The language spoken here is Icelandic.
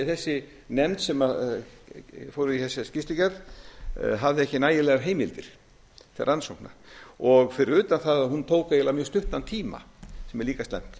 þessi nefnd sem fór í þessa skýrslugerð hafði ekki nægilegar heimildir til rannsókna fyrir utan það að hún tók eiginlega mjög stuttan tíma sem er líka slæmt